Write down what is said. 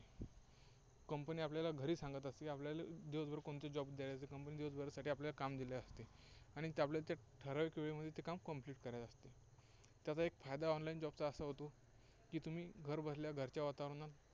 Company आपल्याला घरी सांगत असते की आपल्याला दिवसभर कोणते job द्यायचे company दिवसभरासाठी काम दिलेले असते. आणि ते आपल्याला ठराविक वेळेमध्ये ते काम complete करायचे असते. त्याचा एक फायदा online job चा असा होतो की तुम्ही घरबसल्या घरच्या वातावरणात